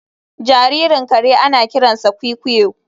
Jaririn kare ana kiransa kwikwiyo